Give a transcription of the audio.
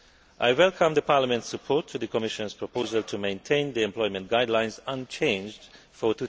I welcome Parliament's support to the Commission's proposal to maintain the Employment Guidelines unchanged for